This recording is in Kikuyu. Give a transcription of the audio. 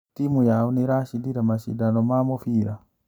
Timu yao nĩiracindire macindano ma mũbira?